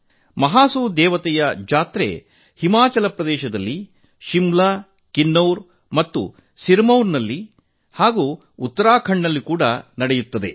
ಮಹಾಸು ದೇವತೆಯ ಜಾತ್ರೆ ಹಿಮಾಚಲ ಪ್ರದೇಶದಲ್ಲಿ ಶಿಮ್ಲಾ ಕಿನ್ನೌರ್ ಮತ್ತು ಸಿರಮೌರ್ ನಲ್ಲಿ ಹಾಗೂ ಉತ್ತರಾಖಂಡ್ ನಲ್ಲಿ ಏಕಕಾಲದಲ್ಲಿ ನಡೆಯುತ್ತದೆ